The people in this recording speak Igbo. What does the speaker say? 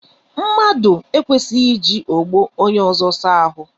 Mmadụ ekwesighi iji ogbo onye ọzọ saa ahụ.